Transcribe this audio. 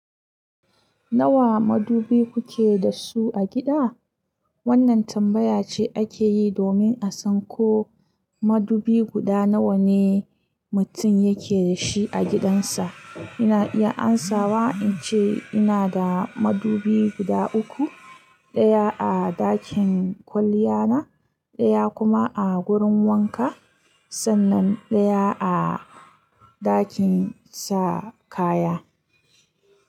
Nawa madubi kuke da su a gida? Wannan tambaya ce ake yi domin a san ko madubi guda nawa ne mutum yake da shi a gidansa. Ina iya amsawa in ce ina da madubi guda uku, ɗaya a ɗakin kwalliya na, ɗaya kuma a wurin wanka, sannan ɗaya a ɗakin sa kaya.